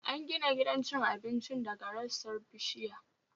An gina gidan cin abincin daga rassan bishiya